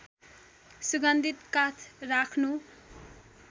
सुगन्धित काठ राख्नु